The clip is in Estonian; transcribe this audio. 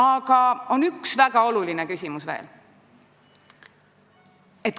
Aga on üks väga oluline küsimus veel.